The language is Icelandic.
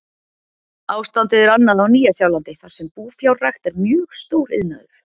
Ástandið er annað á Nýja-Sjálandi þar sem búfjárrækt er mjög stór iðnaður.